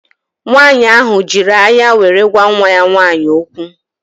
Nwaanyị ahụ jiri anya were gwa nwa ya nwaanyị okwu